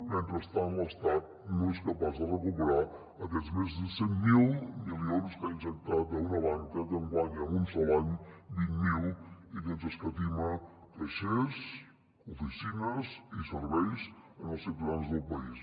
mentrestant l’estat no és capaç de recuperar aquests més de cent miler milions que ha injectat a una banca que enguany en un sol any vint miler i que ens escatima caixers oficines i serveis als ciutadans del país